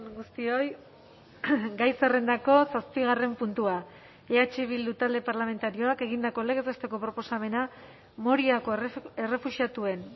guztioi gai zerrendako zazpigarren puntua eh bildu talde parlamentarioak egindako legez besteko proposamena moriako errefuxiatuen